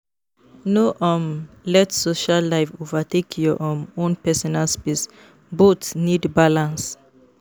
No um let social life overtake your um own personal space; both need balance.